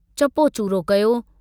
चपो चूरो कयो।